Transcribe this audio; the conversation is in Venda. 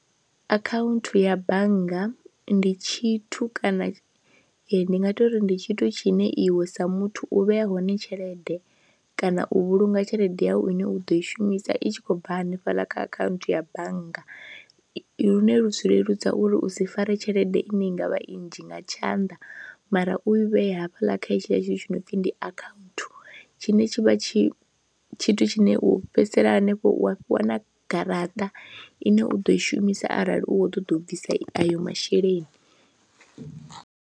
Akhaunthu ya bannga ndi tshithu kana ndi nga ita uri ndi tshithu tshine iwe sa muthu u vheya hone tshelede kana u vhulunga tshelede yawu ine u ḓo i shumisa i tshi khou bva hanefhaḽa kha akhaunthu ya bannga lune lu zwi leludza uri u si fare tshelede ine i nga vha i nnzhi nga tshanḓa mara u i vhee hafhaḽa kha hetshiḽa tshithu tshi no pfhi ndi akhaunthu tshine tshi vha tshi tshithu tshine u fhedzisela hanefho wa fhiwa na garaṱa ine u ḓo i shumisa arali u khou ṱoḓa u bvisa ayo masheleni.